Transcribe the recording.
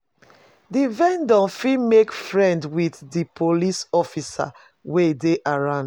Di vendor fit make friends with di police officers wey dey around